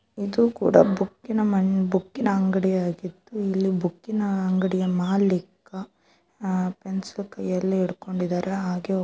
ಇದು ಕೂಡ ಬುಕ್ಕಿನ ಮಾ ಬುಕ್ಕಿನ ಅಂಗಡಿಯಾಗಿದ್ದು ಇಲ್ಲಿ ಬುಕ್ಕಿನ ಅಂಗಡಿಯ ಮಾಲೀಕ ಫೆನ್ಸು ಕೈಯಲ್ಲಿ ಇಡ್ಕೊಂಡಿದಾರೆ ಹಾಗೆ --